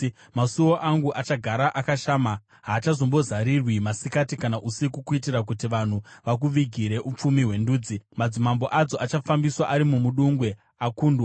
Masuo ako achagara akashama haachazombozarirwi, masikati kana usiku kuitira kuti vanhu vakuvigire upfumi hwendudzi, madzimambo adzo achafambiswa ari mumudungwe akundwa.